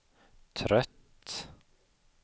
trött